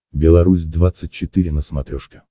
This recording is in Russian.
белорусь двадцать четыре на смотрешке